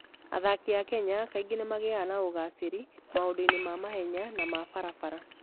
Athaki a Kenya kaingĩ nĩ magĩaga na ũgaacĩru maũndũ-inĩ ma mahenya na ma barabara.